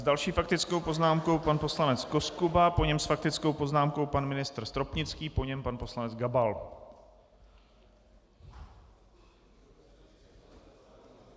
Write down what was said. S další faktickou poznámkou pan poslanec Koskuba, po něm s faktickou poznámkou pan ministr Stropnický, po něm pan poslanec Gabal.